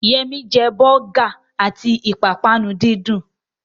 Yẹmí jẹ bọ́gà àti ìpápánu díndín